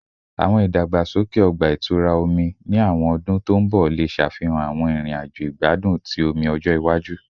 Awọn idagbasoke ọgba-itura omi ni awọn ọdun to nbọ le ṣafihan awọn irin-ajo igbadun ti omi-ọjọ iwaju